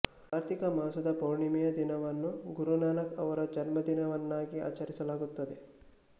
ಕಾರ್ತಿಕ ಮಾಸದ ಪೌರ್ಣಮಿಯ ದಿನವನ್ನು ಗುರುನಾನಕ್ ಅವರ ಜನ್ಮದಿನವನ್ನಾಗಿ ಆಚರಿಸಲಾಗುತ್ತದೆ